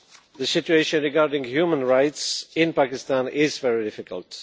The situation regarding human rights in Pakistan is very difficult.